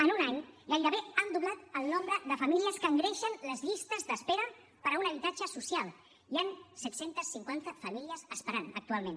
en un any gairebé han doblat el nombre de famílies que engreixen les llistes d’espera per a un habitatge social hi han set cents i cinquanta famílies esperant actualment